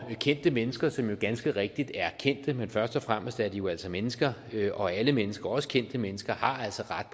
kendte mennesker som jo ganske rigtigt er kendte men først og fremmest er de jo altså mennesker og alle mennesker også kendte mennesker har altså ret